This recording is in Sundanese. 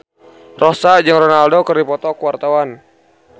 Rossa jeung Ronaldo keur dipoto ku wartawan